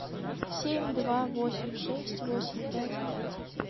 семь два восемь шесть восемь пять пять